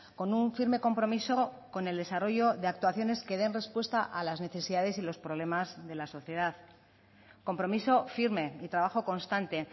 con un firme compromiso con el desarrollo de actuaciones que den respuesta a las necesidades y los problemas de la sociedad compromiso firme y trabajo constante